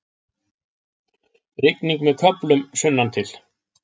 Rigning með köflum sunnantil